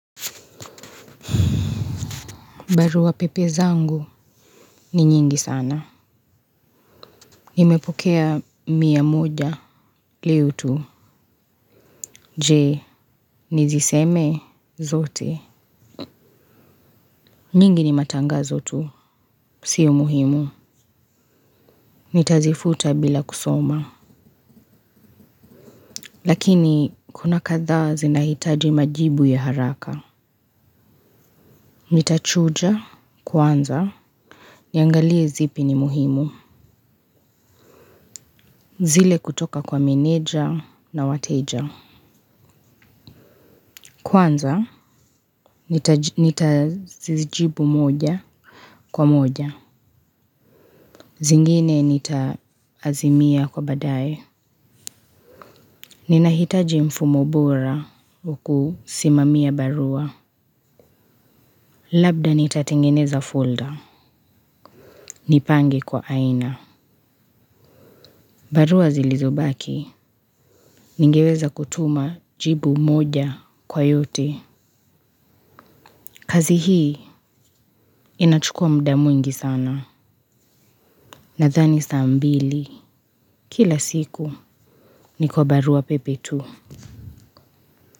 Barua pepe zangu ni nyingi sana. Nimepokea mia moja leo tu. Je niziseme zote. Nyingi ni matangazo tu. Sio muhimu. Nitazifuta bila kusoma. Lakini kuna kadhaa zinahitaji majibu ya haraka. Nitachuja kwanza. Niangalie zipi ni muhimu. Zile kutoka kwa meneja na wateja kwanza nitazijibu moja kwa moja. Zingine nitaazimia kwa badae. Ninahitaji mfumo bora wa kusimamia barua. Labda nitatengeneza folder. Nipange kwa aina. Barua zilizobaki. Ningeweza kutuma jibu moja kwa yote. Kazi hii inachukua mda mwingi sana. Nathani saa mbili. Kila siku, niko barua pepe tu.